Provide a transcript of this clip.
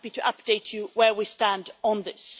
I'm happy to update you where we stand on this.